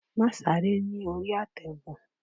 Máà sáré ní orí àtẹ̀gùn!